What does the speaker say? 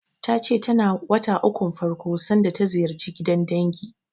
Ta ce tana wata ukun farko sanda ta ziyarci gidan dangi.